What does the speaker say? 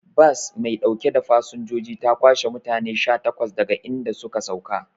Bas maiɗaukan fasanjoji ta kwashe mutane sha takwas daga idan suka sauka